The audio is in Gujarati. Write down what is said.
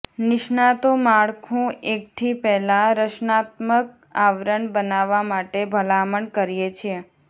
નિષ્ણાતો માળખું એકઠી પહેલાં રક્ષણાત્મક આવરણ બનાવવા માટે ભલામણ કરીએ છીએ